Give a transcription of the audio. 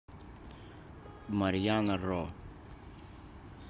марьяна ро